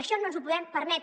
això no ens ho podem permetre